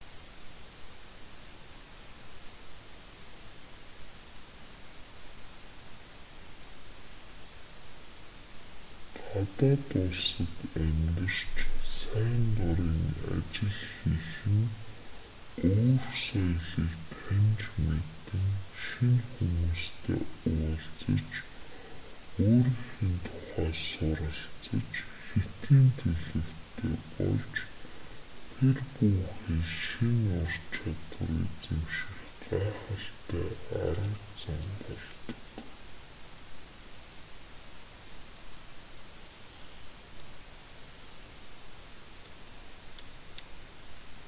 гадаад улсад амьдарч сайн дурын ажил хийх нь өөр соёлыг таньж мэдэн шинэ хүмүүстэй уулзаж өөрийнхөө тухай суралцаж хэтийн төлөвтэй болж тэр бүү хэл шинэ ур чадвар эзэмших гайхалтай арга зам болдог